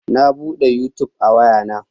Na bude yutub a waya na